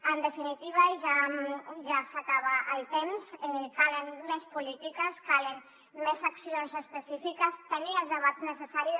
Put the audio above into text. en definitiva ja s’acaba el temps calen més polítiques calen més accions específiques tenir els debats necessaris